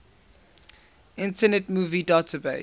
internet movie database